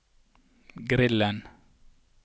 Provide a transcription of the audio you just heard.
grillen